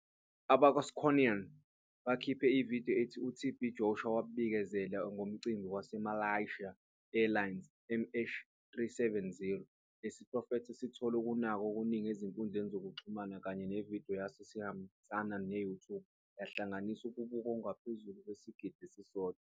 Abakwa-SCOAN bakhiphe ividiyo ethi uTB Joshua wabikezela ngomcimbi waseMalaysia Airlines MH370. Lesi siprofetho sithole ukunakwa okuningi ezinkundleni zokuxhumana kanye nevidiyo yaso ehambisana ne-YouTube yahlanganisa ukubukwa okungaphezu kwesigidi esisodwa.